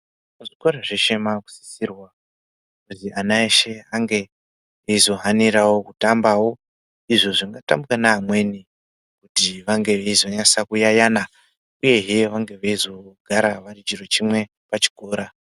Muzvikora zveshe makusisirwa kuzi ana eshe ange eizotambawo izvo zvingatambwa neamweni kuti vange veizonasa kuyayana uyehe veizogara vari chiro chimwe pachikora.